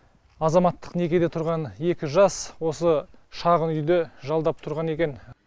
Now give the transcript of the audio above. азаматтық некеде тұрған екі жас осы шағын үйді жалдап тұрған екен